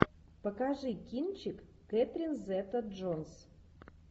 покажи кинчик кэтрин зета джонс